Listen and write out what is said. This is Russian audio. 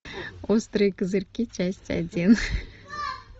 острые козырьки часть один